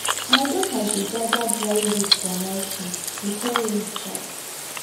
my daughter dey gather dry leaf for mulching before rain start